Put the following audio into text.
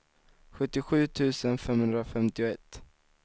sjuttiosju tusen femhundrafemtioett